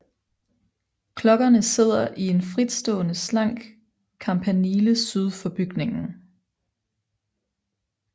Klokkerne sidder i en fritstående slank kampanile syd for bygningen